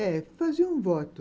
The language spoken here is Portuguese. É, fazia um voto.